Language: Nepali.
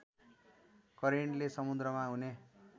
करेन्टले समुद्रमा हुने